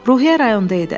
Ruhiyyə rayonda idi.